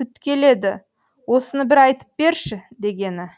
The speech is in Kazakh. пүткеледі осыны бір айтып берші дегені